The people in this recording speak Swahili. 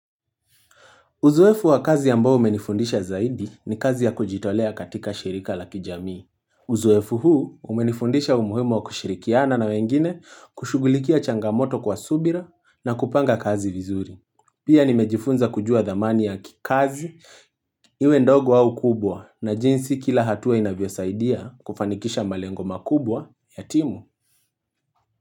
Uzoefu wa kazi ambao umenifundisha zaidi, ni kazi ya kujitolea katika shirika la kijamii. Uzoefu huu umenifundisha umuhimu wa kushirikiana na wengine kushughulikia changamoto kwa subira na kupanga kazi vizuri. Pia nimejifunza kujua dhamani ya kikazi, iwe ndogo au kubwa na jinsi kila hatua inavyosaidia kufanikisha malengo makubwa ya timu.